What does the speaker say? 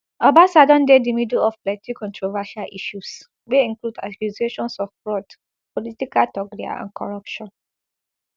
obasa don dey di middle of plenty controversial issues wey include accusations of fraud political thuggery and corruption